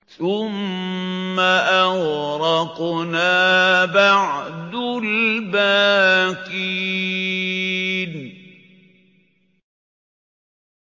ثُمَّ أَغْرَقْنَا بَعْدُ الْبَاقِينَ